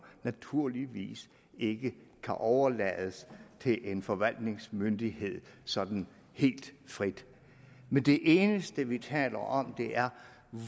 naturligvis ikke kan overlades til en forvaltningsmyndighed sådan helt frit men det eneste vi taler om er